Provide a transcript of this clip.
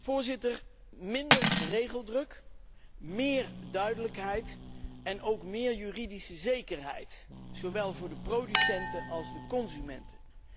Voorzitter, minder regeldruk, meer duidelijkheid en ook meer juridische zekerheid, zowel voor de producenten als voor de consumenten.